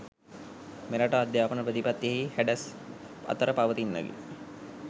මෙරට අධ්‍යාපන ප්‍රතිපත්තියෙහි හැඩැස් අතර පවතින්නකි.